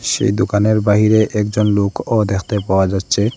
সেই দোকানের বাহিরে একজন লোকও দেখতে পাওয়া যাচ্ছে।